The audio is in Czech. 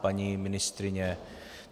Paní ministryně?